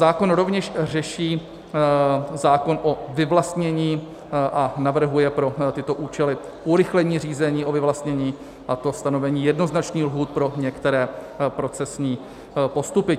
Zákon rovněž řeší zákon o vyvlastnění a navrhuje pro tyto účely urychlení řízení o vyvlastnění, a to stanovení jednoznačných lhůt pro některé procesní postupy.